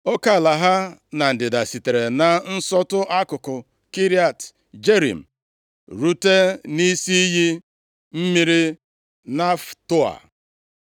Oke ala ha na ndịda sitere na nsọtụ akụkụ Kiriat Jearim rute nʼisi iyi mmiri Neftoa.